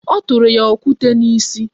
O tụrụ ya okwute n'isi